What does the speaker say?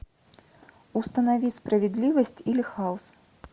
установи справедливость или хаос